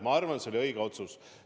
Ma arvan, et see oli õige otsus.